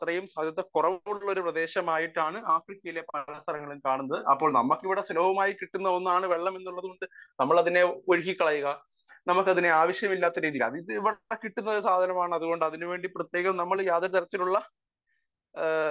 Speaker 1 അതുപോലത്തെ ഒരു പ്രദേശമായിട്ടാണ് ആഫ്രിക്കയിലെ പല സ്ഥലങ്ങളും കാണുന്നത് . അപ്പോൾ നമ്മക്ക് ഇവിടെ സുലഭമായിട്ട് കിട്ടുന്നതാണ്‌ വെള്ളം എന്നുള്ളത് കൊണ്ട് നമ്മൾ അതിനെ ഒഴുക്കി കളയുക നമുക്ക അതിനെ ആവശ്യമില്ലാത്ത രീതിയിൽ അത് ഇവിടെ ഇഷ്ടം പോലെ കിട്ടുന്ന സാധനമാണ് അതുകൊണ്ട് അതിനു വേണ്ടി നമ്മൾ പ്രത്യേകം യാതൊരു തരത്തിലുള്ള